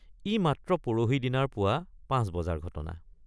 ই মাত্ৰ পৰহি দিনাৰ পুৱা ৫ বজাৰ ঘটনা।